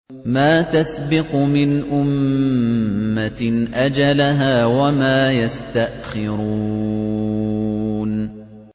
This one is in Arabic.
مَّا تَسْبِقُ مِنْ أُمَّةٍ أَجَلَهَا وَمَا يَسْتَأْخِرُونَ